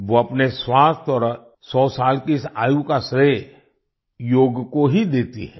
वो अपने स्वास्थ्य और 100 साल की इस आयु का श्रेय योग को ही देती हैं